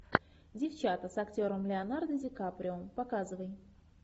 девчата с актером леонардо ди каприо показывай